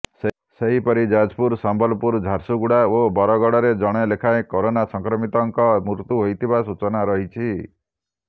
ସେହିପରି ଯାଜପୁର ସମ୍ବଲପୁର ଝାରସୁଗୁଡ଼ା ଓ ବରଗଡ଼ରେ ଜଣେ ଲେଖାଏଁ କୋରୋନା ସଂକ୍ରମିତଙ୍କ ମୃତ୍ୟୁ ହୋଇଥିବା ସୂଚନା ରହିଛି